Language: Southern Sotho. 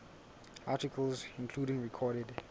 articles including recorded